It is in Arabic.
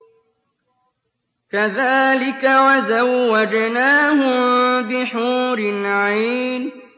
كَذَٰلِكَ وَزَوَّجْنَاهُم بِحُورٍ عِينٍ